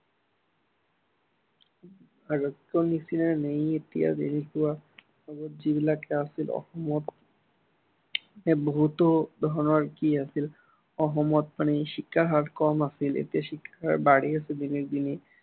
আগৰ নিচিনা নহয়, এতিয়া যেনেকুৱা অসমত যিবিলাক আছিল, অসমত বহুতো ধৰনৰ কি আছিল, অসমত মানে শিক্ষাৰ হাৰ কম আছিল, এতিয়া শিক্ষাৰ হাৰ বাঢ়ি আছে দিনক দিনে।